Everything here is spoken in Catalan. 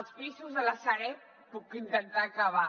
els pisos de la sareb puc intentar acabar